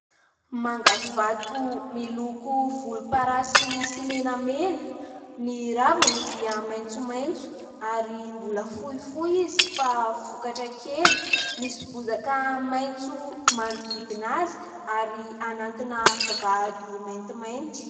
Manga vato miloko volomparasy sy menamena, ny raviny dia maitsomaitso ary mbola fohifohy izy fa vokatra kely, misy bozaka maitso manodidina azy ary anatina vavahady maintimainty.